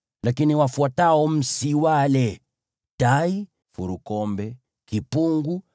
Lakini wafuatao msiwale: tai, furukombe, kipungu,